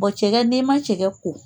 cɛ ka denma cɛ ka ko